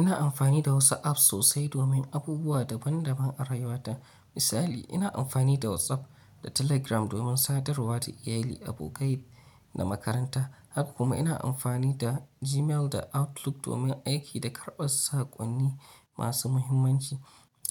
Ina amfani da wasu apps sosai domin abubuwa daban-daban a rayuwa ta. Misali, ina amfani da WhatsApp da Telegram domin sadarwa da iyali, abokai da makaranta. Haka kuma ina amfani da Gmail da Outlook domin aiki da karɓar saƙonni masu muhimmanci.